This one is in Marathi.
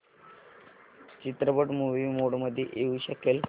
चित्रपट मूवी मोड मध्ये येऊ शकेल का